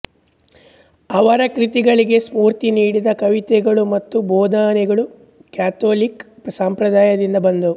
ಅವರ ಕೃತಿಗಳಿಗೆ ಸ್ಫೂರ್ತಿ ನೀಡಿದ ಕವಿತೆಗಳು ಮತ್ತು ಬೋಧನೆಗಳು ಕ್ಯಾಥೋಳೀಖ್ ಸಂಪ್ರದಾಯದಿಂದ ಬಂದವು